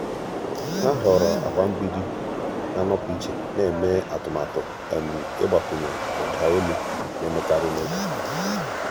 há họ̀ọ̀rọ̀ agba mgbidi nà-ànọ́pụ́ ìchè nà-èmé atụ́matụ ị́gbakwụnye ụ́dà ólù nà-èmékarị́ n’ógè.